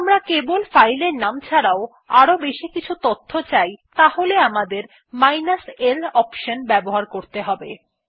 যদি আমরা কেবল ফাইল এর নাম ছাড়াও আরও বেশি কিছু তথ্য চাই তাহলে আমাদের মাইনাস l অনশন ব্যবহার করতে হবে